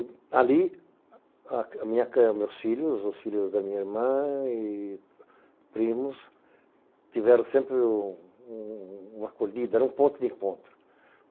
E ali, meus filhos, os filhos da minha irmã e primos tiveram sempre uma acolhida, era um ponto de encontro.